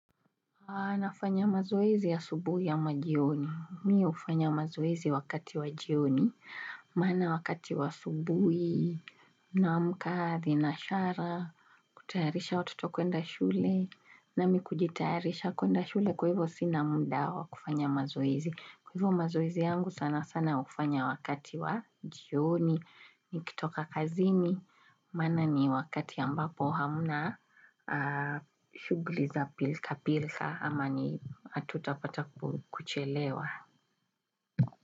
Anafanya mazoezi ya asubuhi ama jioni. Mi hufanya mazoezi wakati wa jioni, maana wakati wa asubuhi, naamka, ninashara, kutayarisha watoto kuenda shule, nami kujitayaharisha kuenda shule kwa hivo sina muda wa kufanya mazoezi. Kwa hivo mazoizi yangu sana sana hufanya wakati wa jioni, nikitoka kazini, maana ni wakati ambapo hamna shuguli za pilka pilka ama ni hatutapata kuchelewa.